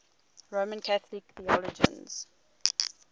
roman catholic theologians